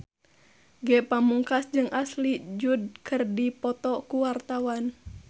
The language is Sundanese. Ge Pamungkas jeung Ashley Judd keur dipoto ku wartawan